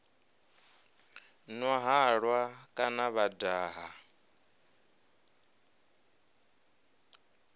nwa halwa kana vho daha